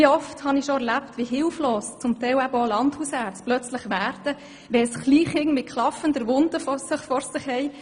Wie oft habe ich schon erlebt, wie hilflos teilweise auch Landärzte werden, wenn sie ein Kleinkind mit klaffender Wunde vor sich haben.